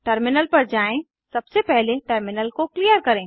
terminal पर जाएँ सबसे पहले टर्मिनल को क्लियर करें